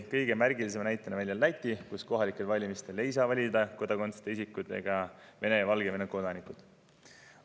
Kõige märgilisema näitena toodi välja Läti, kus kohalikel valimistel ei saa valida kodakondsuseta isikud ega Venemaa ja Valgevene kodanikud.